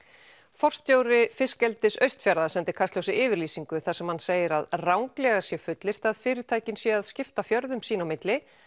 forstjóri fiskeldis Austfjarða sendi Kastljósi yfirlýsingu þar sem hann segir að ranglega sé fullyrt að fyrirtækin séu að skipta fjörðum sín á milli